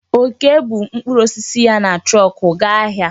Okee bu mkpụrụ osisi ya na trọọkụ gaa ahịa.